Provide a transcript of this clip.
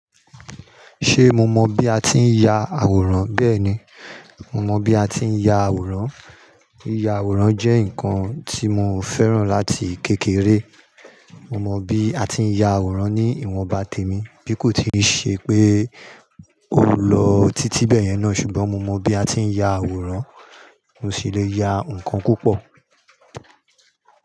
Ṣé mo mọ bi a ti ń ya àwòrán? Bẹ́ẹ̀ni, mo mọ bí a ti ń ya àwòrán. Íya àwòrán jẹ́ ǹkan tí mo fẹ́ràn láti kékeré. Mo mọ bí a ti ń ya àwòrán ní ìwọ̀nba tèmi bí kò tíì ṣe pé ó lọ títí bẹ́ẹ̀yẹn náà ṣùgbọ́n mo mọ bí a ti ń ya àwòrán. Mo sì le ya ǹkan púpọ̀